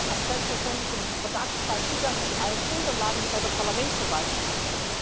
OLAF hat selbstverständlich im Verdachtsfall Zugang zu allen Unterlagen, die bei der Parlamentsverwaltung sind.